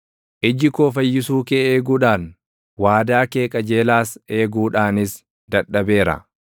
Iji koo fayyisuu kee eeguudhaan, waadaa kee qajeelaas eeguudhaanis dadhabeera.